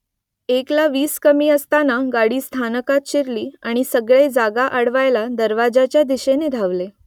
एकला वीस कमी असताना गाडी स्थानकात शिरली आणि सगळे जागा अडवायला दरवाज्याच्या दिशेने धावले